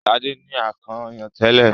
Sade ní akàn ọyàn tẹlẹ.